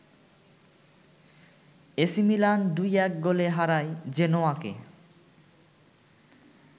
AC Milan ২-১ গোলে হারায় জেনোয়াকে